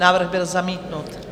Návrh byl zamítnut.